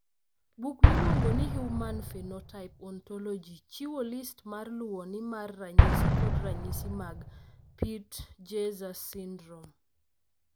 Buk miluongo ni Human Phenotype Ontology chiwo list ma luwoni mar ranyisi kod ranyisi mag Peutz Jeghers syndrome.